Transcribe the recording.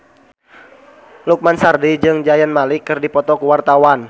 Lukman Sardi jeung Zayn Malik keur dipoto ku wartawan